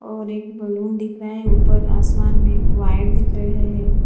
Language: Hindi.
और एक बलून दिख रहा है ऊपर आसमान वायर दिख रहे है।